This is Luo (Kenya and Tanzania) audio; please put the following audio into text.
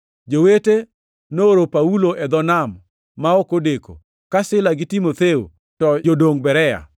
Jowete nooro Paulo e dho nam ma ok odeko, ka Sila gi Timotheo to jodong Berea.